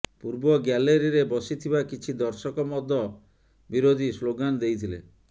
ପୂର୍ବ ଗ୍ୟାଲେରିରେ ବସିଥିବା କିଛି ଦର୍ଶକ ମଦ ବିରୋଧୀ ସ୍ଲୋଗାନ ଦେଇଥିଲେ